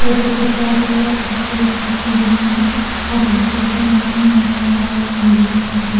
ete dikhi ase bose study koina oper te likhi kene ase motto complex koi na.